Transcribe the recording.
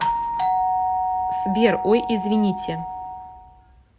сбер ой извините